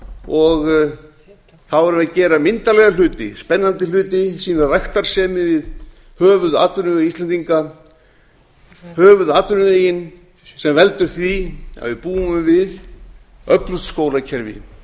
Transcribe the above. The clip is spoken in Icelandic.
og þá værum við að gera myndarlega hluti spennandi hluti sýna ræktarsemi við höfuðatvinnuveg íslendinga höfuðatvinnuvegi sem veldur því að við búum við öflugt skólakerfi